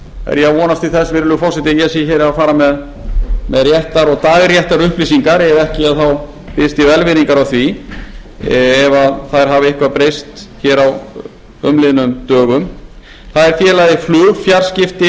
er ég að vonast til þess virðulegi forseti að ég sé hér að fara með réttar og dagréttar upplýsingar ef ekki þá biðst ég velvirðingar á því ef þær hafa eitthvað breyst hér á umliðnum dögum það er félagið flugfjarskipti